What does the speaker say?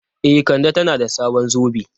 E, Kande tana da sabon zobe.